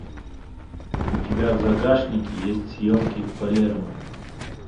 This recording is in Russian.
у тебя в загашнике есть съемки в палермо